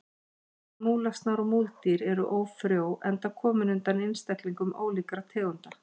Bæði múlasnar og múldýr eru ófrjó enda komin undan einstaklingum ólíkra tegunda.